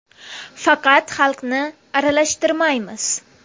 Faqat xalqni aralashtirmaymiz.